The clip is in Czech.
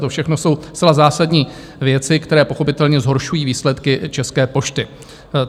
To všechno jsou zcela zásadní věci, které pochopitelně zhoršují výsledky České pošty.